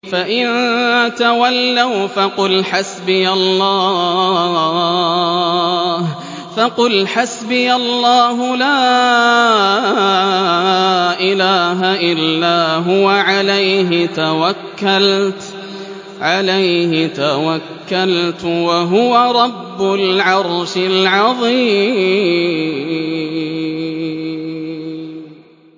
فَإِن تَوَلَّوْا فَقُلْ حَسْبِيَ اللَّهُ لَا إِلَٰهَ إِلَّا هُوَ ۖ عَلَيْهِ تَوَكَّلْتُ ۖ وَهُوَ رَبُّ الْعَرْشِ الْعَظِيمِ